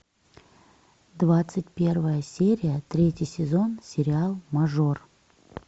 двадцать первая серия третий сезон сериал мажор